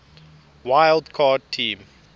wild card team